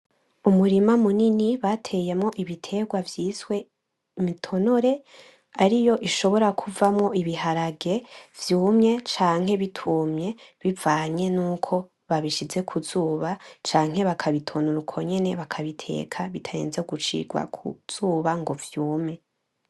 Umurima munini bateyemwo ibitegwa vyiswe imitonore ariyo ishobora kuvamwo ibiharage vyumye canke bitumye bivanye nuko babishize kuzuba canke bakabitonora uko nyene bakateka bitarinze gushigwa kuzuba ngo vyume